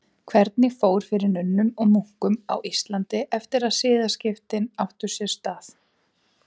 Hvernig fór fyrir nunnum og munkum á Íslandi eftir að siðaskiptin áttu sér stað?